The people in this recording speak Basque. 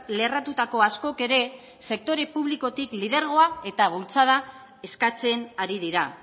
lerratutako askok ere sektore publikotik lidergoa eta bultzada eskatzen ari dira